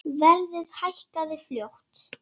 Verðið hækkaði fljótt.